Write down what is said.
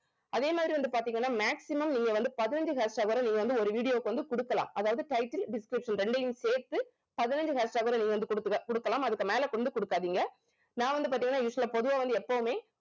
அதே மாதிரி வந்து பாத்தீங்கன்னா maximum நீங்க வந்து பதினெஞ்சி hashtag வர நீங்க வந்து ஒரு video வுக்கு வந்து குடுக்கலாம் அதாவது title description இரண்டையும் சேர்த்து பதினஞ்சி hashtag வர நீங்க வந்து குடுத்துக்க~ குடுக்கலாம் அதுக்கு மேல வந்து குடுக்காதீங்க நான் வந்து பாத்தீங்கன்னா usual ஆ பொதுவா வந்து எப்பவுமே